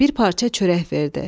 Bir parça çörək verdi.